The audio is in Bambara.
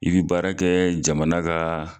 I bɛ baara kɛ jamana kaaa.